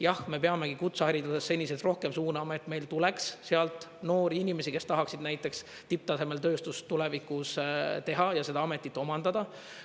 Jah, me peamegi kutseharidusse senisest rohkem suunama, et meil tuleks sealt noori inimesi, kes tahaksid näiteks tipptasemel tööstust tulevikus teha ja seda ametit omandada.